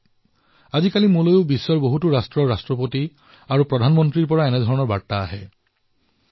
আজকালি মইও বিভিন্ন দেশৰ ৰাষ্ট্ৰপতি আৰু প্ৰধানমন্ত্ৰীৰ তৰফৰ পৰা ভাৰতৰ বাবে এনে বিভিন্ন বাৰ্তা লাভ কৰো